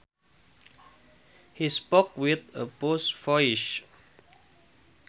He spoke with a posh voice